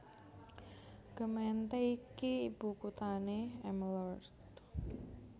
Gemeente iki ibu kuthané Emmeloord